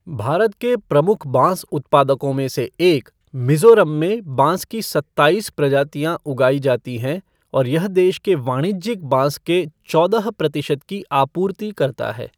भारत के प्रमुख बाँस उत्पादकों में से एक, मिज़ोरम में बाँस की सत्ताईस प्रजातियाँ उगाई जाती हैं और यह देश के वाणिज्यिक बाँस के चौदह प्रतिशत की आपूर्ति करता है।